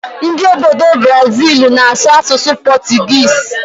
Ndị obodo Buraziilu na-asụ asụsụ pọtụgịịsị.